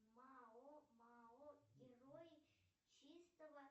мао мао герои чистого